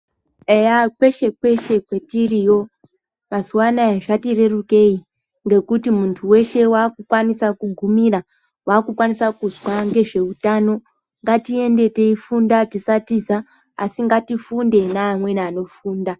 Eya kweshe kweshe kwatiriyo mazuva anoaya zvati rerukei ngekuti muntu weshe wava kukwanisa kugumira wakukwanisa kuzwa nezveutano ngatiende tinofunda tisatiza asi ngatifunde neamweni anofunda.